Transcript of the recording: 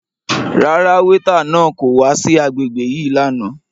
Rárá, weeta náà ko wa si agbegbe yii làná